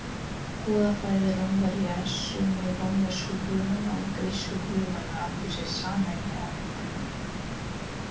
Goðafræði Rómverja Sumir rómversku guðanna og grísku guðanna áttu sér sameiginlegan uppruna.